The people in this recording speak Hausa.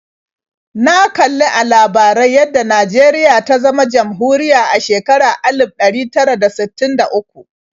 Na kali a labarai yadda Najeriya ta zama jamhuriya a shekarar alif ɗari tara da sittin da uku.